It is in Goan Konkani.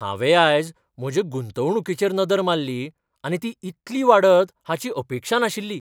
हांवें आयज म्हजे गुंतवणूकीचेर नदर मारली आनी ती इतली वाडत हाची अपेक्षा नाशिल्ली.